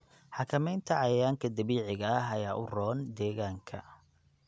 Xakamaynta cayayaanka dabiiciga ah ayaa u roon deegaanka.